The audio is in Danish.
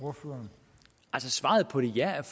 fordi jeg